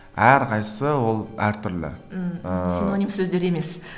әрқайсысы ол әртүрлі ммм ыыы синоним сөздер емес